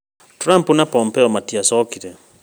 Trump na Pompeo matiacokirie